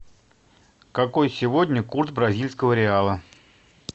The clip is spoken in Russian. какой сегодня курс бразильского реала